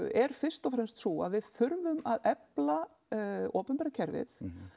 er fyrst og fremst sú að við þurfum að efla opinbera kerfið